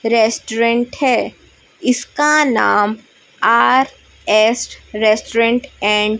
restaurant है इसका नाम आर एस रेस्टोरेंट एंड --